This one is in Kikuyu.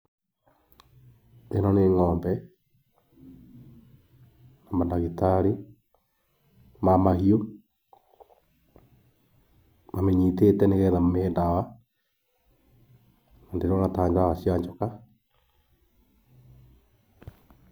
Ĩno nĩ ngʹombe, na mandagitarĩ ma mahiũ, mamĩnyitĩte nĩgetha mamĩhe ndawa, na ndĩrona tarĩ ndawa cia joka.